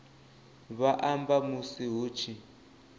vha amba musi hu tshi